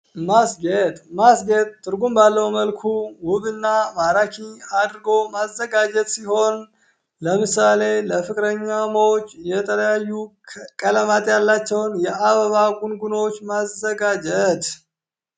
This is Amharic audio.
ማስጌጥ ማስጌጥ ትርጉም ባለው መልኩ ውብ እና ማራኪ አድርጎ ማዘጋጀት ሲሆን። ለምሳሌ ለፍቅረኛሞች የተለያዩ ቀለማት ያላቸውን የአበባ ጉንጉኖች ማዘጋጀት